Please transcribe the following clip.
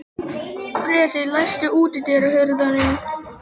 Bresi, læstu útidyrunum.